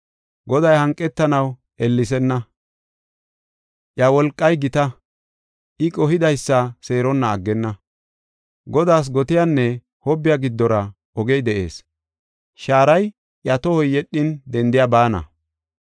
Goday hanqetanaw ellesenna; iya wolqay gita; I qohidaysa seeronna aggenna. Godaas gotiyanne hobbiya giddora ogey de7ees; shaaray iya tohoy yedhin dendiya baana.